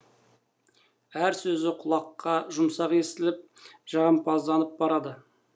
әр сөзі құлаққа жұмсақ естіліп жағымпазданып барады